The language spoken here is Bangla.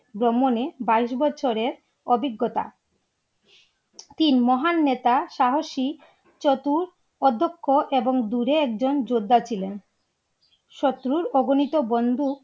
ভ্রমণে বাইস বছরের অভিজ্ঞতা তিন মহান নেতা সাহসী চতুর অধ্যক্ষ এবং দূরে একজন যোদ্ধা ছিলেন শত্রুর অবিনীত বন্ধু